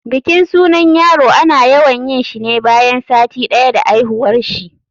bikin sunan yaro ana yawan yinshi ne bayan sati ɗaya da aihuwarshi.